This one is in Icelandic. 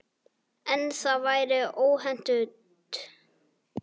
En það væri óhentugt.